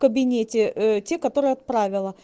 кабинете те которые отправил